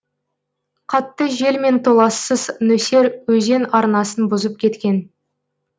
қатты жел мен толассыз нөсер өзен арнасын бұзып кеткен